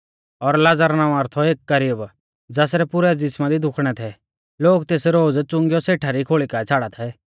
और लाज़र नावां रौ थौ एक गरीब ज़ासरै पुरै ज़िसमा दी दुखणै थै लोग तेस रोज़ च़ुंगीयौ सेठा री खोल़ी काऐ छ़ाड़ा थै